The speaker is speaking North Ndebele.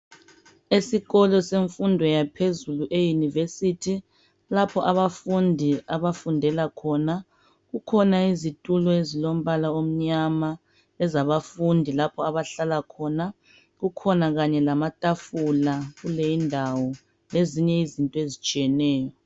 Esikolo semfundo yaphezulu eyunivesithi lapho abafundi abafundela khona kukhona izitulo ezimnyama lapho abahlala khona, lamatafula lezinye izinto ezitshiyeneyo.